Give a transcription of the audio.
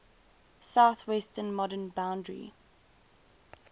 southwestern modern boundary